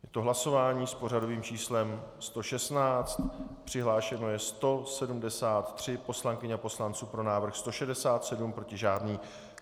Je to hlasování s pořadovým číslem 116, přihlášeno je 173 poslankyň a poslanců, pro návrh 167, proti žádný.